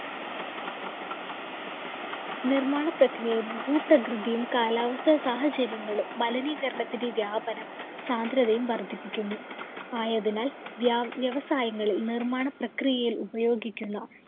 നിര്‍മ്മാണ പ്രക്രിയയും, ഭൂപ്രകൃതിയും കാലാവസ്ഥാ സാഹചര്യങ്ങളും മലിനീകരണത്തിന്‍റെ വ്യാപനം സാന്ദ്രതയും വര്‍ദ്ധിപ്പിക്കുന്നു. ആയതിനാല്‍ വ്യാവ്യവസായങ്ങളില്‍ നിര്‍മ്മാണ പ്രക്രിയയില്‍ ഉപയോഗിക്കുന്ന